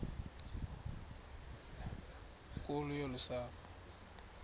nkulu yolu sapho